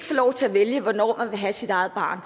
få lov til at vælge hvornår man ville have sit eget barn